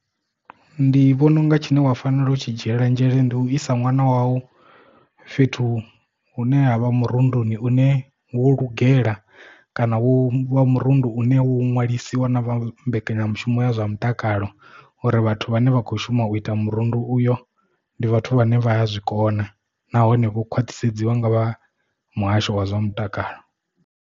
Ndi vhona unga tshine wa fanela u tshi dzhiela nzhele ndi u isa nwana wau fhethu hune ha vha murunduni une wo lugela kana wo vha murundu une wo ṅwalisiwa na vha mbekanyamushumo ya zwa mutakalo uri vhathu vhane vha kho shuma u ita murundu uyo ndi vhathu vhane vha ya zwikona nahone vho khwaṱhisedziwa nga vha muhasho wa zwa mutakalo.